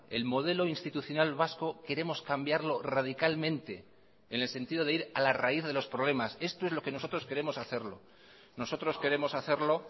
el modelo institucional vasco queremos cambiarlo radicalmente en el sentido de ir a la raíz de los problemas esto es lo que nosotros queremos hacerlo nosotros queremos hacerlo